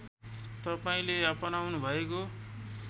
तपाईँले अपनाउनुभएको